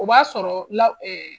O b'a sɔrɔ la